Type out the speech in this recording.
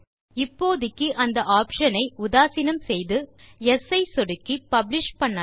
இப்போதைக்கு அந்த ஆப்ஷன் ஐ உதாசீனம் செய்து மற்றும் யெஸ் ஐ சொடுக்கி பப்ளிஷ் செய்யலாம்